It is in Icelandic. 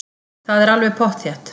Það er alveg pottþétt.